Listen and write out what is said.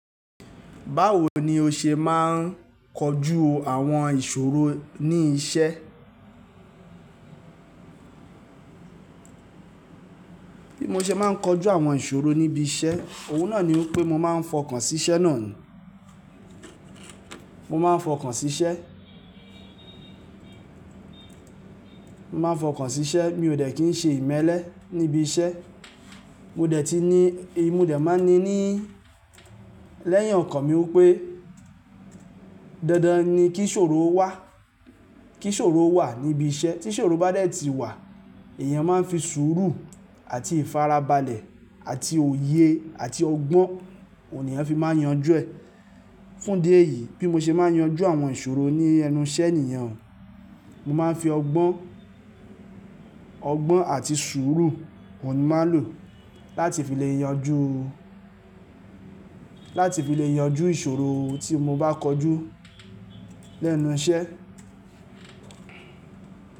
Báwo ni o ṣe máa ń kojú àwọn ìṣòro ní iṣẹ́? Bí mo ṣe máa ń kojú àwọn ìṣòro níbi iṣẹ́, òun náà ni ó pé mo máa ń fọkàn sí iṣẹ́ náà ni. Mo máa ń fọkàn sí iṣẹ́, mo máa ń fọkàn sí iṣẹ́, mi ò dẹ̀ kín ń ṣe ìmẹ́lẹ́ níbi iṣẹ́. Mo dẹ̀ ti ní, mo dẹ̀ máa ni ní lẹ́yàn ọkàn mi wípé dandan ni kí ìṣòro wà, kí ìṣòro wà níbi iṣẹ́. Tí ìṣòro bá dẹ̀ ti wà, èèyàn máa ń fi sùúrù àti ìfarabalẹ̀ àti òye àti ọgbọ́n, òun ni èèyàn fi máa ń yanjú ẹ̀. Fún díẹ̀ yìí, bí mo ṣe máa ń yanjú àwọn ìṣòro ní ẹnu iṣẹ́ nì yen, mo máa ń fi ọgbọ́n, ọgbọ́n àti sùúrù, òun ni mo máa ń lò láti fi lè yanjú, láti fi lè yanjú ìṣòro tí mo bá kojú lẹ́nu iṣẹ́